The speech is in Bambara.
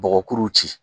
Bɔgɔkuru ci